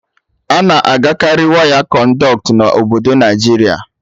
Ana agakarị waya Konduit na obodo Naịjiria